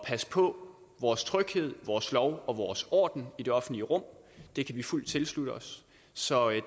passe på vores tryghed vores lov og vores orden i det offentlige rum det kan vi fuldt tilslutte os så